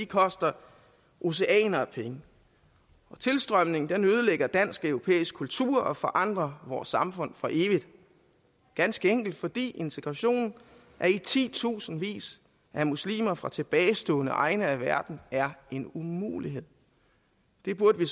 koster oceaner af penge tilstrømningen ødelægger dansk europæisk kultur og forandrer vores samfund for evigt ganske enkelt fordi integration af i titusindvis af muslimer fra tilbagestående egne af verden er en umulighed det burde